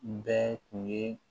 Bɛɛ tun ye